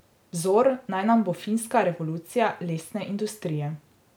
Vzor naj nam bo finska revolucija lesne industrije.